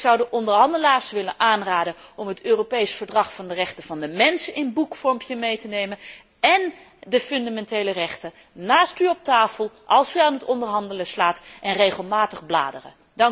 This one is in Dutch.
Ik zou de onderhandelaars willen aanraden om het Europees Verdrag van de rechten van de mens in boekvorm mee te nemen en de fundamentele rechten naast u op tafel te leggen als u aan het onderhandelen slaat, en regelmatig te bladeren.